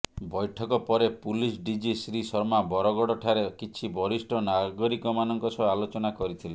ବୈଠକ ପରେ ପୁଲିସ ଡିଜି ଶ୍ରୀ ଶର୍ମା ବରଗଡଠାରେ କିଛି ବରିଷ୍ଠ ନାଗରିକମାନଙ୍କ ସହ ଆଲୋଚନା କରିଥିଲେ